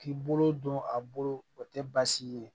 K'i bolo don a bolo o tɛ baasi ye